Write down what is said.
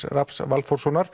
Rafns